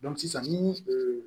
sisan ni